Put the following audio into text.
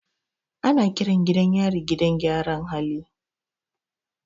Ana kiran gidan yari gidan gyaran hali.